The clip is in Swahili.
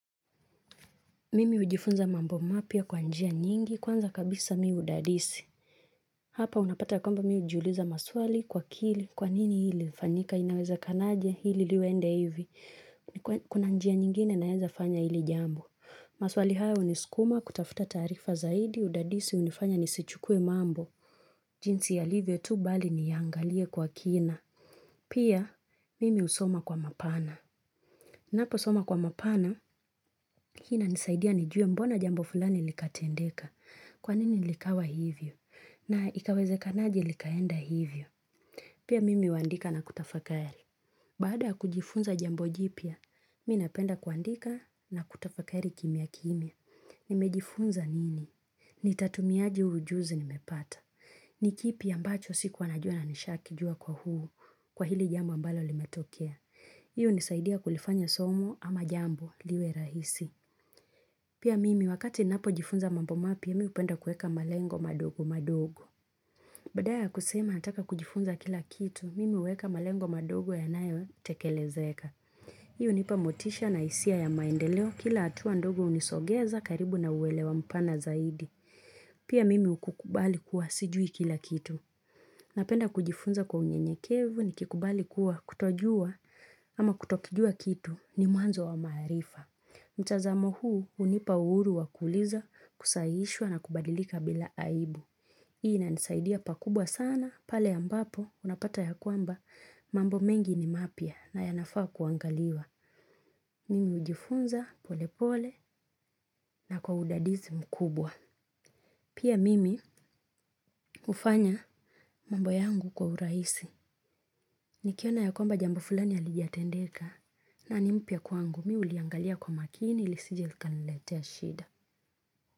Mimi hujifunza mambo mapya kwa njia nyingi. Kwanza kabisa mi hudadisi. Hapa unapata kwamba mi hujiuliza maswali kwa akili, kwa nini hili lilifanyika? Inawezekanaje hili liende hivi? Kuna njia nyingine naeza fanya hili jambo. Maswali haya huniskuma kutafuta taarifa zaidi. Udadisi hunifanya nisichukue mambo. Jinsi yalivyo tu bali niyaangalie kwa kina. Pia mimi husoma kwa mapana. Naposoma kwa mapana, hii inanisaidia nijue mbona jambo fulani likatendeka, kwa nini likawa hivyo, na ikawezekanaje likaenda hivyo. Pia mimi huandika na kutafakari. Baada ya kujifunza jambo jipya, mi napenda kuandika na kutafakari kimya kimya. Nimejifunza nini? Nitatumiaje huu ujuzi nimepata? Ni kipi ambacho sikuwa najua na nishakijua kwa huu kwa hili jambo ambalo limetokea? Hii hunisaidia kulifanya somo ama jambo liwe rahisi. Pia mimi wakati napojifunza mambo mapya mi hupenda kuweka malengo madogo madogo. Badala ya kusema nataka kujifunza kila kitu, mimi huweka malengo madogo yanayotekelezeka. Hii hunipa motisha na hisia ya maendeleo, kila hatua ndogo hunisogeza karibu na uelewa mpana zaidi. Pia mimi huku kubali kuwa sijui kila kitu. Napenda kujifunza kwa unyenyekevu nikikubali kuwa kutojua ama kutokijua kitu ni mwanzo wa maarifa. Mtazamo huu hunipa uhuru wa kuuliza, kusahihishwa na kubadilika bila aibu. Hii inanisaidia pakubwa sana pale ambapo unapata ya kwamba mambo mengi ni mapya na yanafaa kuangaliwa. Mimi hujifunza pole pole na kwa udadisi mkubwa. Pia mimi hufanya mambo yangu kwa urahisi. Nikiona ya kwamba jambo fulani halijatendeka, na ni mpya kwangu mi huliangalia kwa makini lisije likaniletea shida.